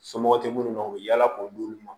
Somɔgɔ tɛ minnu na u bɛ yaala k'u d'ulu ma